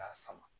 K'a sama